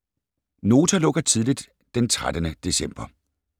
Nota lukker tidligt den 13. december